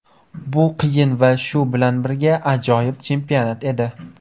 Bu qiyin va shu bilan birga ajoyib chempionat edi.